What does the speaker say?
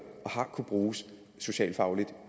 og bruges socialfagligt